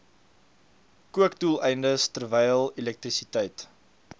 kookdoeleindes terwyl elektrisiteit